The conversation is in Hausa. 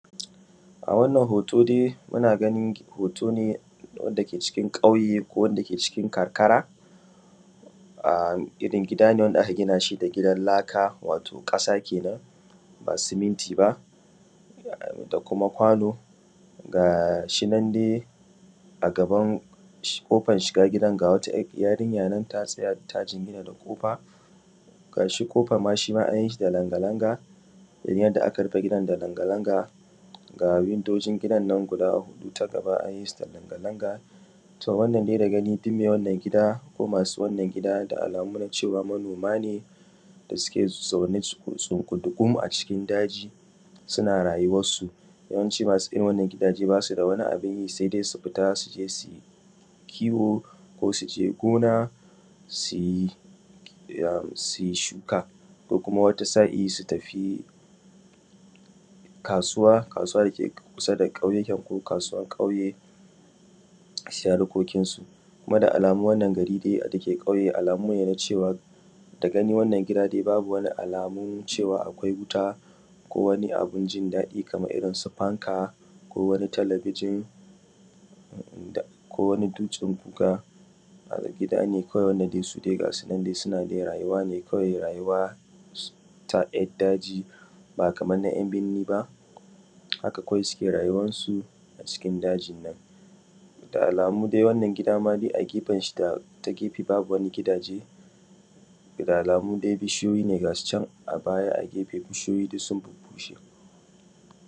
A wannan hoto dai muna ganin hoto ne wanda ke cikin kauye ko wana ke cikin karkara ginin gida ne wanda aka gina shi da laka wato ƙasa kenan ba siminti ba da kuma kwano gashinan dai a gaban kofan shiga gidan wata yarinya ta tsaya ta jingina da kofa, gashi kofan ma shima inyishi da langa langa domin yanda aka yishi da langa langa ga wundojinn gidannan guda huɗu ta gaba an yisu da langa langa. To wannan dai da gani duk mai wannan gida ko duk masu wanna gida da alamu dai cewa manoma ne da suke zaune tsungudugum a cikin daji suna rayuwan su dan cewa masu irrin wannan gida basu da wani abunyi sai dai su fita suje kiwo ko suje sui noma sui shuka ko kuma wata sa’ili su tafi kasuwar dake kusa da kyauye ko kasuwan kauye sui harkokin su. kuma da alamu wannan giri dake kauye alamu nena cewa da gani dai wannan gida babu alamu na cewa akwai wuta ko wani abun in daɗi kamansu fanka ko wani talabijin ko wani dutsen guga gidane wanda dai suna wani rayuwa ne ta ‘ya’ daji bata ‘ya’binni ba haka kawai suke rayuwan su a cikin daginnan da alamu dai wannan gida a gefenshi ta gefe babu wani gidaje ta gefe da alamu dai bishiyoyi ne gasucan a baya a gefe bishiyoyi dussun bubbushe.